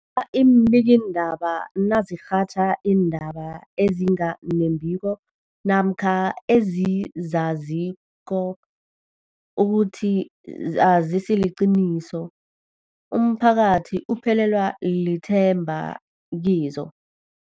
a iimbikiindaba nazirhatjha iindaba ezinga nembiko namkha ezizaziko ukuthi azisiliqiniso, umphakathi uphelelwa lithemba kizo.